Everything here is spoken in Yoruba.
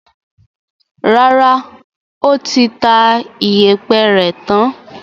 Rárá, ó ti ta ìyẹ̀pẹ̀ rẹ̀ tán.